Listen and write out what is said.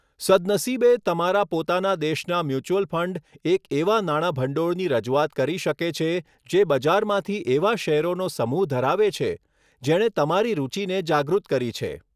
સદનસીબે, તમારા પોતાના દેશનાં મ્યુચ્યુઅલ ફંડ એક એવા નાણાભંડોળની રજૂઆત કરી શકે છે જે બજારમાંથી એવા શેરોનો સમૂહ ધરાવે છે જેણે તમારી રૂચિને જાગૃત કરી છે.